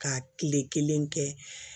Ka kile kelen kɛ